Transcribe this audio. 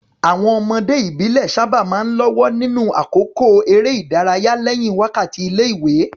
Àwọn ọmọdé ìbílẹ̀ sábà máa ń lọ́wọ́ nínú àkókò eré ìdárayá lẹ́yìn wákàtí ilé-ìwé.